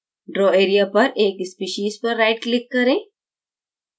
draw area पर एक species पर right click करें